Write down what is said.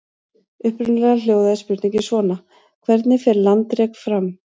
Upprunalega hljóðaði spurningin svona: Hvernig fer landrek fram?